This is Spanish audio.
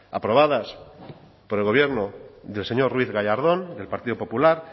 aprobadas por el gobierno del señor ruiz gallardón del partido popular